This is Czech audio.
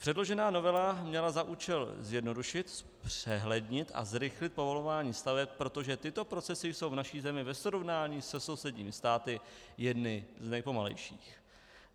Předložená novela měla za účel zjednodušit, zpřehlednit a zrychlit povolování staveb, protože tyto procesy jsou v naší zemi ve srovnání se sousedními státy jedny z nejpomalejších.